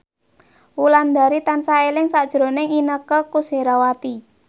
Wulandari tansah eling sakjroning Inneke Koesherawati